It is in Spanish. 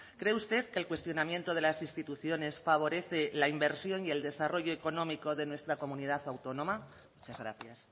cree usted que el cuestionamiento de las instituciones favorece la inversión y el desarrollo económico de nuestra comunidad autónoma muchas gracias